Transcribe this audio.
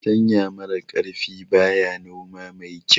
Fartanya mara kaifi baya noma mai kyau